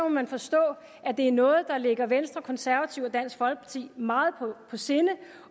man forstå at det er noget der ligger venstre konservative og dansk folkeparti meget på sinde